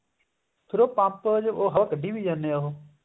ਫ਼ੇਰ ਉਹ ਪੰਪ ਚੋਂ ਹਵਾ ਕੱਢੀ ਵੀ ਜਾਂਦੇ ਆ ਉਹ